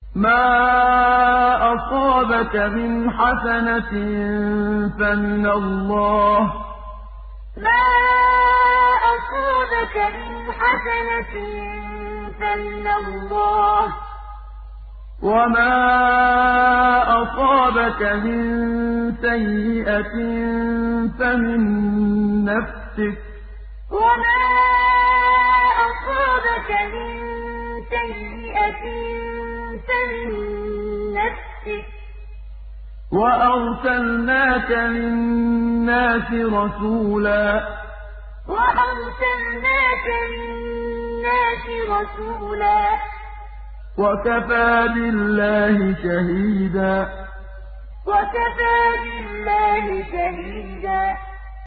مَّا أَصَابَكَ مِنْ حَسَنَةٍ فَمِنَ اللَّهِ ۖ وَمَا أَصَابَكَ مِن سَيِّئَةٍ فَمِن نَّفْسِكَ ۚ وَأَرْسَلْنَاكَ لِلنَّاسِ رَسُولًا ۚ وَكَفَىٰ بِاللَّهِ شَهِيدًا مَّا أَصَابَكَ مِنْ حَسَنَةٍ فَمِنَ اللَّهِ ۖ وَمَا أَصَابَكَ مِن سَيِّئَةٍ فَمِن نَّفْسِكَ ۚ وَأَرْسَلْنَاكَ لِلنَّاسِ رَسُولًا ۚ وَكَفَىٰ بِاللَّهِ شَهِيدًا